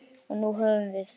Og nú höfum við